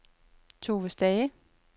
Tove Stage